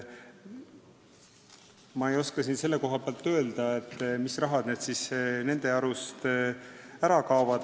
Ma ei oska öelda, mis raha siis nende arust ära kaob.